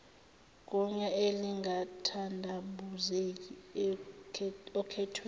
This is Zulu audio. gunya elingathandabuzeki okhethweni